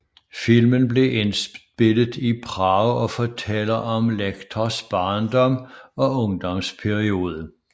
Filmen blev indspillet Prag og fortæller om Lectors barndom og ungdomsperiode